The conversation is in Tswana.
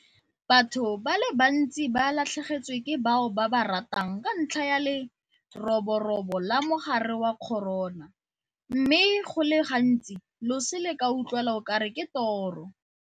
Batho ba le bantsi ba latlhegetswe ke bao ba ba ratang ka ntlha ya leroborobo la mogare wa corona mme go le gantsi loso le ka utlwala o kare ke toro.